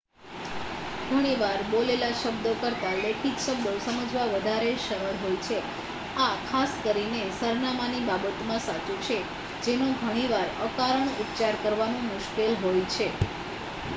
ઘણીવાર બોલેલા શબ્દો કરતાં લેખિત શબ્દો સમજવા વધારે સરળ હોય છે આ ખાસ કરીને સરનામાની બાબતમાં સાચું છે જેનો ઘણીવાર અકારણ ઉચ્ચાર કરવાનું મુશ્કેલ હોય છે